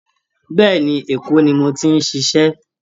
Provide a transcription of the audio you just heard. Bẹ́ẹ̀́ẹ̀ ni, Èkó nu mo ti ń ṣiṣẹ́